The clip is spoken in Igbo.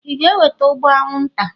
ị ga-eweta ụgbụ anwụnta?